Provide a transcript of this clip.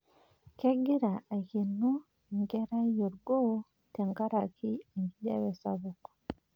Kegira aikeno enkerai orgoo tenkaraki enkijape sapuk.